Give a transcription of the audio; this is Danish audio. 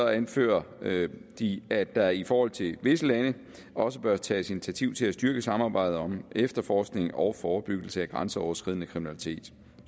anfører de at der i forhold til visse lande også bør tages initiativ til at styrke samarbejdet om efterforskning og forebyggelse af grænseoverskridende kriminalitet